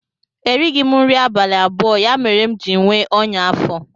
erighị m nri abalị abụọ, ya mere m ji nwee ọnya afọ